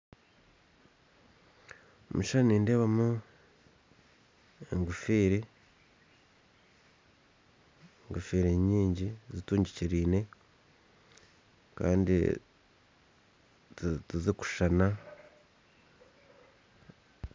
Omukishushani nindeebamu enkofira nyingi zitundikiriraine kandi zitarikushishana.